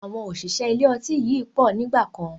Àwọn òṣìṣẹ́ ilé ọtí yìí pọ̀ nígbàkan